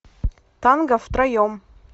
танго втроем